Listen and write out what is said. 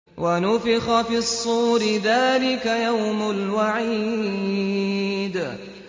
وَنُفِخَ فِي الصُّورِ ۚ ذَٰلِكَ يَوْمُ الْوَعِيدِ